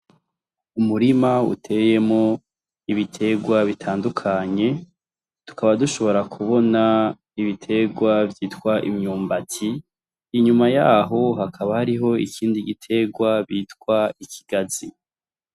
Umurima uteyemwo ibitegwa bitandukanye, tukaba dushobora kubona ibitegwa vyitwa imyumbati, inyuma yaho hakaba hariho ikindi gitegwa bitwa ikigazi.